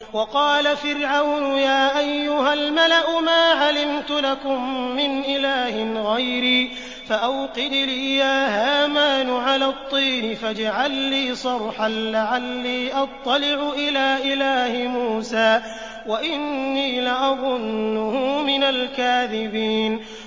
وَقَالَ فِرْعَوْنُ يَا أَيُّهَا الْمَلَأُ مَا عَلِمْتُ لَكُم مِّنْ إِلَٰهٍ غَيْرِي فَأَوْقِدْ لِي يَا هَامَانُ عَلَى الطِّينِ فَاجْعَل لِّي صَرْحًا لَّعَلِّي أَطَّلِعُ إِلَىٰ إِلَٰهِ مُوسَىٰ وَإِنِّي لَأَظُنُّهُ مِنَ الْكَاذِبِينَ